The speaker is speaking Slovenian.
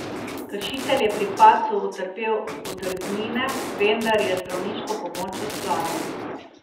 Kršitelj je pri padcu utrpel odrgnine, vendar je zdravniško pomoč odklonil.